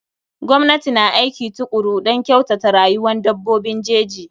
Gwamnati na aiki tukuru don kyautata rayuwan dabbobin jeji.